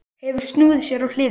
Hefur snúið sér á hliðina.